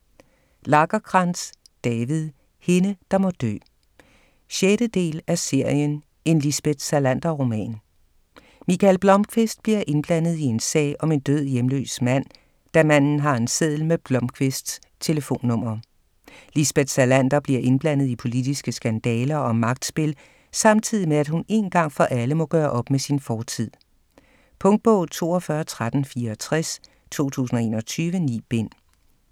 Lagercrantz, David: Hende der må dø 6. del af serien En Lisbeth Salander-roman. Mikael Blomkvist bliver indblandet i en sag om en død hjemløs mand, da manden har en seddel med Blomkvists telefonnummer. Lisbeth Salander bliver indblandet i politiske skandaler og magtspil samtidig med, at hun én gang for alle må gøre op med sin fortid. Punktbog 421364 2021. 9 bind.